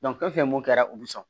fɛn fɛn mun kɛra u bɛ sɔn